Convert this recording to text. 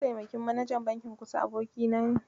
Mataimakin manajan bankin Kusa abokina ne.